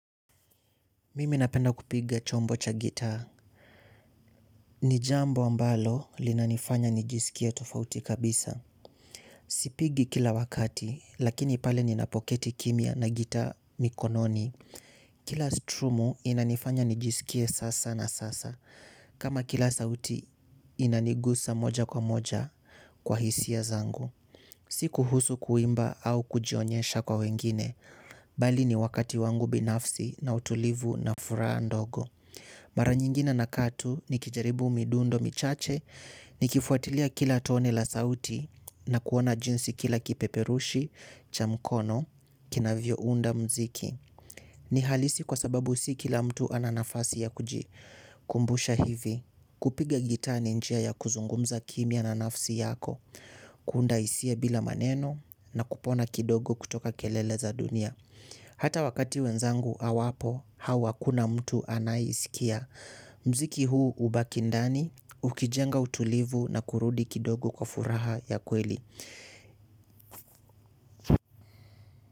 Mimi napenda kupiga chombo cha gitaa. Ni jambo ambalo linanifanya nijiskie tofauti kabisa. Sipigi kila wakati, lakini pale ninapoketi kimya na gitaa mikononi. Kila strumu inanifanya nijisikie sasa na sasa. Kama kila sauti inanigusa moja kwa moja kwa hisia zangu. Si kuhusu kuimba au kujionyesha kwa wengine. Mbali ni wakati wangu binafsi na utulivu na furaha ndogo mara nyingine nakaa tu nikijaribu midundo michache nikifuatilia kila tone la sauti na kuona jinsi kila kipeperushi, cha mkono, kinavyo unda mziki ni halisi kwa sababu si kila mtu ana nafasi ya kujikumbusha hivi kupiga gitaa ni njia ya kuzungumza kimya na nafsi yako. Kuunda hisia bila maneno na kupona kidogo kutoka kelele za dunia. Hata wakati wenzangu hawapo au hakuna mtu anaisikia mziki huu hubaki ndani ukijenga utulivu na kurudi kidogo kwa furaha ya kweli.